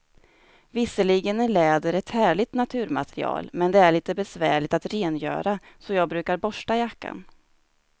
Visserligen är läder ett härligt naturmaterial, men det är lite besvärligt att rengöra, så jag brukar borsta jackan.